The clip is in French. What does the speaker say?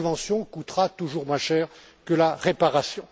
La prévention coûtera toujours moins cher que la réparation.